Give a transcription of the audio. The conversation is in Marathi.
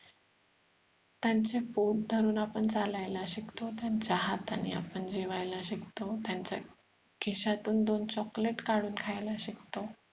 त्यांच बोट धरून आपण चालायला शिकतो त्यांचा हाताने आपण जेवायला शिकतो त्यांच्या खिशातून दोन चॉकलेट काढून खायला शिकतो